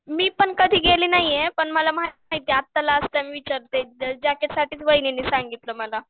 मी पण कधी गेले नाहीये पण मला माहित आहे आता लास्ट टाईम जॅकेटसाठीच वैनींनी सांगितलं मला.